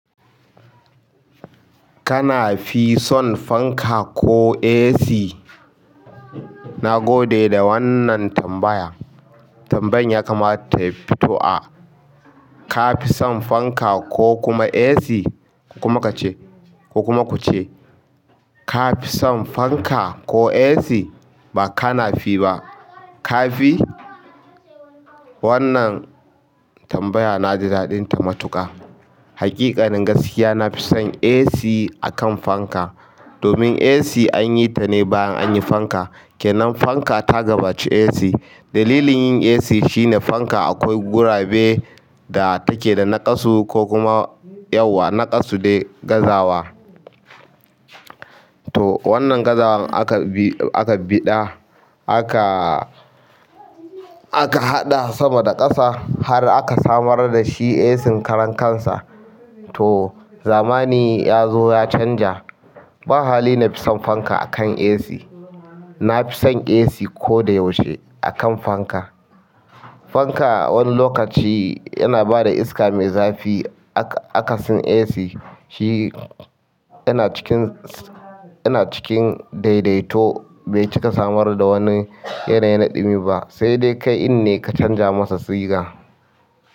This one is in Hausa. Kana fi son fanka ko AC? Na gode da wannan tambaya. Tambayan ya kamata ta fito a ka fi son fanka ko kuma AC kuma ka ce ko kuma ku ce ka fi son fanka ko AC. Ba ka nafi ba. Ka fi wannan tambaya na ji daɗin ta matuƙa. Haƙiƙanin gaskiya nafison AC a kan fanka domin AC an yi ta ne bayan an yi fanka. Kenan fanka ta gabaci AC, dalilin yin AC shine akwai gurabe da take da naƙasu ko kuma yawa. Naƙasu dai gazawa. To wannan gazawan aka biɗa, aka haɗa sama da ƙasa har aka samar da shi AC ƙaran kansa. To zamani ya zo ya canja. Ba hali na fi son fanka akan AC. Na fi son AC ko da yaushe akan fanka. Fanka wani lokaci yana bada iska mai zafi. Akasin AC shi yana cikin, yana cikin daidaito bai cika samar da wani yanayi naɗimi ba. Sai dai kai in ne ka canja masa siga.